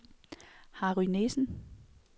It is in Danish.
Harry Nissen